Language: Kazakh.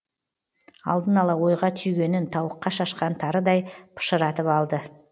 алдын ала ойға түйгенін тауыққа шашқан тарыдай пышыратып алды